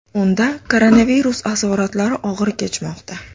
Unda koronavirus asoratlari og‘ir kechmoqda.